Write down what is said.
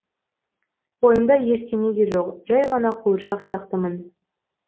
ойымда ештеңе де жоқ жәй ғана қуыршақ сияқтымын